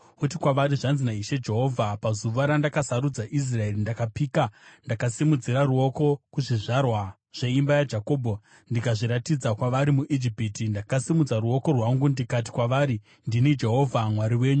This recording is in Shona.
uti kwavari, ‘Zvanzi naIshe Jehovha: Pazuva randakasarudza Israeri, ndakapika ndakasimudzira ruoko kuzvizvarwa zveimba yaJakobho ndikazviratidza kwavari muIjipiti. Ndakasimudza ruoko rwangu, ndikati kwavari, “Ndini Jehovha Mwari wenyu.”